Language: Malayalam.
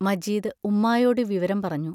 മജീദ് ഉമ്മായോടു വിവരം പറഞ്ഞു.